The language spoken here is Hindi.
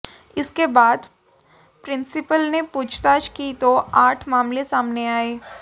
इसके बाद प्रिंसिपल ने पूछताछ की तो आठ मामले सामने आए